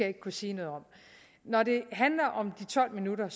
ikke kunne sige noget om når det handler om de tolv minutter